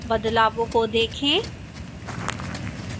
बदलावों को देखें